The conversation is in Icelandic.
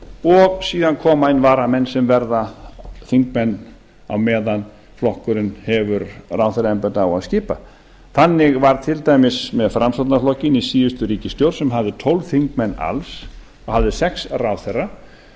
og síðan koma inn varamenn sem verða þingmenn á meðan flokkurinn hefur ráðherraembætti á að skipa þannig var til dæmis með framsóknarflokkinn í síðustu ríkisstjórn sem hafði tólf þingmenn alls og hafði sex ráðherra að